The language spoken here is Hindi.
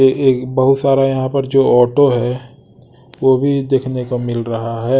ये एक बहुत सारे यहां पर जो ऑटो है वो भी देखने को मिल रहा है।